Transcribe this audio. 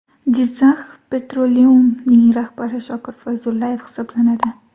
Jizzakh Petroleum’ning rahbari Shokir Fayzullayev hisoblanadi .